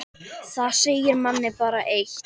Það segir manni bara eitt.